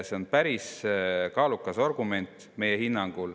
See on meie hinnangul päris kaalukas argument.